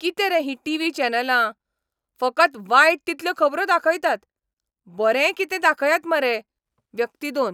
किते रे ही टिव्ही चॅनलां? फकत वायट तितल्यो खबरो दाखयतात. बरेंय कितें दाखयात मरे. व्यक्ती दोन